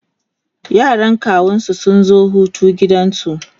yaran kawunsu sun zo Hutu a gidansu